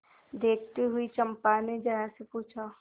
देखती हुई चंपा ने जया से पूछा